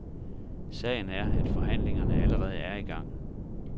Sagen er, at forhandlingerne allerede er i gang.